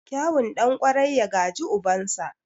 Kyawun ɗan ƙwarai, ya gaji ubansa.